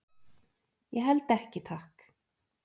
"""Ég held ekki, takk."""